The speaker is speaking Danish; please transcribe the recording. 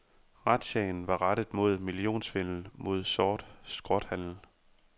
Razziaen var rettet mod millionsvindel med sort skrothandel.